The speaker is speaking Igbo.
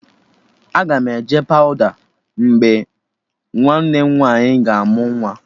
Aga m eje pawụda mgbe nwanne nwaanyị ga amụ nwa